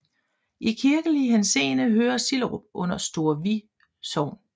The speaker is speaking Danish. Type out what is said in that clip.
I kirkelig henseende hører Sillerup under Store Vi Sogn